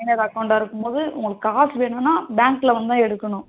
minor account அ இருக்கும்போது காசு வேணும்னா bank ல வந்துதா எடுக்கணும்.